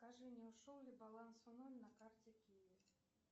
скажи не ушел ли баланс в ноль на карте киви